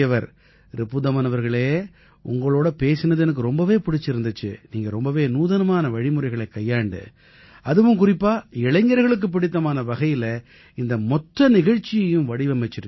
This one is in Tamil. ரிபுதமன் அவர்களே உங்களோட பேசினது எனக்கு ரொம்பவே பிடிச்சிருந்திச்சு நீங்க ரொம்பவே நூதனமான வழிமுறைகளைக் கையாண்டு அதுவும் குறிப்பா இளைஞர்களுக்குப் பிடித்தமான வகையில இந்த மொத்த நிகழ்ச்சியையும் வடிவமைச்சிருக்கீங்க